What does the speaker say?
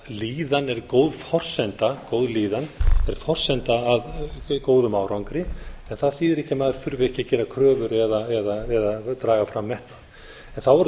þannig að góð líðan er forsenda að góðum árangri en það þýðir ekki að maður þurfi ekki að gera kröfur að draga fram metnað þá verðum við